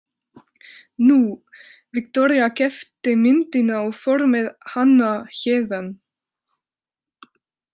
Nú, Viktoría keypti myndina og fór með hana héðan.